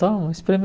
Toma, espreme.